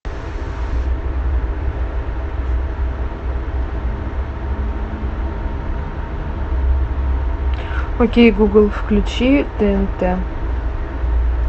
окей гугл включи тнт